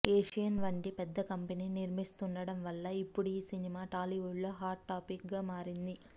Asian వంటి పెద్ద company నిర్మిస్తుండటం వల్ల ఇప్పుడీ ఈ సినిమా టాలీవుడ్ లో హాట్ టాపిక్ గా మారింది